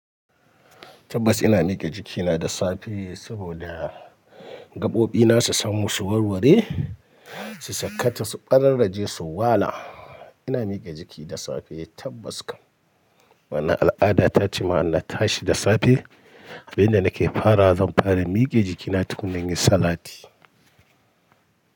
Tabbas ina mike jikina da safe saboda gaɓoɓina su samu su warware, su sakkata, su ƙararraje, su wala. Ina mike jiki da safe tabbas kam. Wani al'ada ta ce ma ina tashi da safe. Abin da nake fara zan fara mike jikina tun da nayi salati.